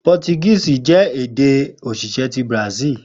Portuguese jẹ ede osise ti Brazil